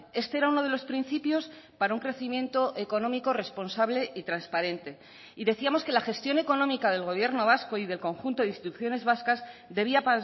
este era uno de los principios para un crecimiento económico responsable y transparente y decíamos que la gestión económica del gobierno vasco y del conjunto de instituciones vascas debía